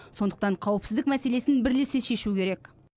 сондықтан қауіпсіздік мәселесін бірлесе шешу керек